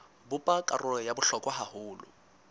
bopa karolo ya bohlokwa haholo